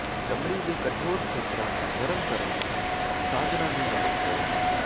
ਚਮੜੀ ਦੇ ਕਠੋਰ ਖੇਤਰਾਂ ਨੂੰ ਨਰਮ ਕਰਨ ਲਈ ਸਾਧਨਾਂ ਨੂੰ ਲਾਗੂ ਕਰੋ